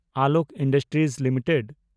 Alok industries limited